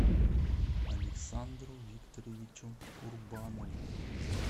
александру викторовичу курбанову